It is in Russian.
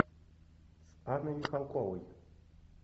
с анной михалковой